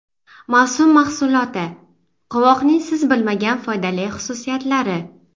Mavsum mahsuloti: qovoqning siz bilmagan foydali xususiyatlari.